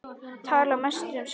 Tala mest um sjálfan sig.